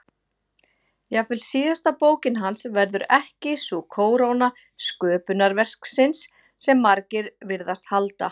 Jafnvel síðasta bókin hans verður ekki sú kóróna sköpunarverksins sem margir virðast halda.